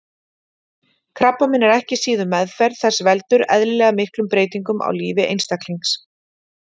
Krabbamein og ekki síður meðferð þess veldur eðlilega miklum breytingum á lífi einstaklings.